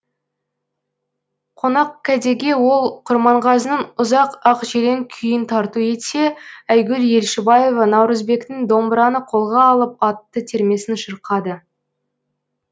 қонақкәдеге ол құрманғазының ұзақ ақжелең күйін тарту етсе айгүл елшібаева наурызбектің домбыраны қолға алып атты термесін шырқады